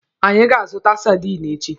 Anyị ga-azụta sadinu echi.